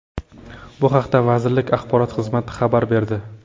Bu haqda vazirlik axborot xizmati xabar berdi .